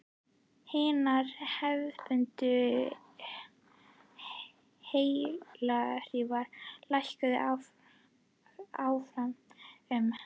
Hinar hefðbundnu heyrnarhlífar lækka hávaða um